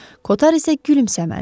Koter isə gülümsəmədi.